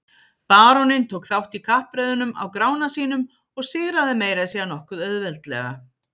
Baróninn tók þátt í kappreiðunum á Grána sínum og sigraði meira að segja nokkuð auðveldlega.